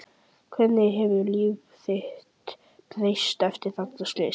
Hvernig hefur líf þitt breyst eftir þetta slys?